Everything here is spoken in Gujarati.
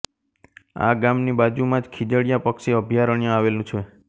આ ગામની બાજુમાં જ ખીજડીયા પક્ષી અભયારણ્ય આવેલ છે